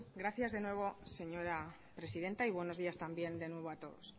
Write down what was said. gracias de nuevo señora presidenta y buenos días también de nuevo a todos